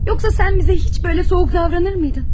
Yoxsa sən bizə heç belə soyuq davranır mıydın?